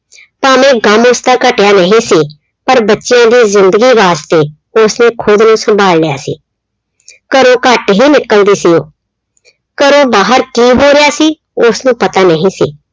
ਭਾਵੇਂ ਗਮ ਉਸਦਾ ਘਟਿਆ ਨਹੀਂ ਸੀ। ਪਰ ਬੱਚਿਆਂ ਦੀ ਜਿੰਦਗੀ ਵਾਸਤੇ ਉਸਨੇ ਖੁਦ ਨੂੰ ਸੰਭਾਲ ਲਿਆ ਸੀ। ਘਰੋਂ ਘੱਟ ਹੀ ਨਿਕਲਦੀ ਸੀ ਉਹ ਘਰੋਂ ਬਾਹਰ ਕੀ ਹੋ ਰਿਹਾ ਸੀ ਉਸਨੂੰ ਪਤਾ ਨਹੀਂ ਸੀ।